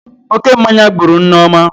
Oke mmanya gburu Nneoma